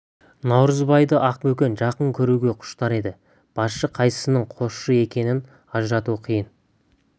наурызбайды ақбөкен жақын көруге құштар еді басшы қайсысының қосшы екенін ажырату қиын